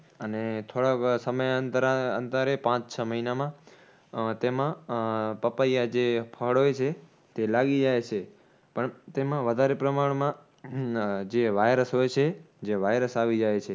અને થોડાક સમય અંતરા અંતરે પાંચ છ મહિનામાં ઉહ તેમાં ઉહ પપૈયાં જે ફળ હોય છે તે લાગી જાય છે. પણ તેમાં વધારે પ્રમાણમાં જે virus હોય છે, જે virus આવી જાય છે